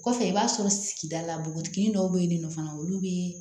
Kɔfɛ i b'a sɔrɔ sigida la npogotiginin dɔw be yen nɔ fana olu be